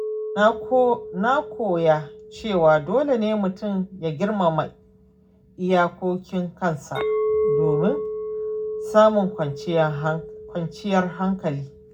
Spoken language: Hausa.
Na koya cewa dole ne mutum ya girmama iyakokin kansa domin samun kwanciyar hankali.